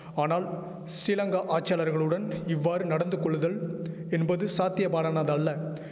ஆனால் ஸ்ரீலங்கா ஆட்சியாளர்களுடன் இவ்வாறு நடந்துகொள்ளுதல் என்பது சாத்திய பாடனதல்ல